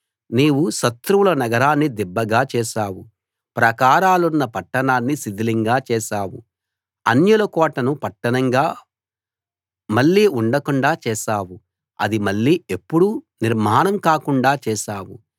నీవు శత్రువుల నగరాన్ని దిబ్బగా చేశావు ప్రాకారాలున్న పట్టణాన్ని శిథిలంగా చేశావు అన్యుల కోటను పట్టణంగా మళ్ళీ ఉండకుండా చేశావు అది మళ్ళీ ఎప్పుడూ నిర్మాణం కాకుండా చేశావు